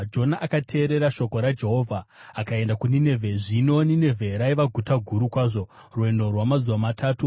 Jona akateerera shoko raJehovha akaenda kuNinevhe. Zvino Ninevhe raiva guta guru kwazvo, rwendo rwamazuva matatu.